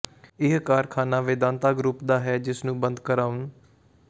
ਇਹ ਕਾਰਖ਼ਾਨਾ ਵੇਦਾਂਤਾ ਗਰੁਪ ਦਾ ਹੈ ਜਿਸ ਨੂੰ ਬੰਦ ਕਰਾਉਣ